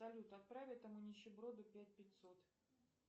салют отправь этому нищеброду пять пятьсот